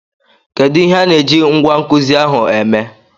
Kedu ihe a na-eji ngwá nkuzi ahụ eme?